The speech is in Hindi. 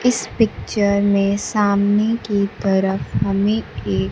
इस पिक्चर में सामने की तरफ हमें एक--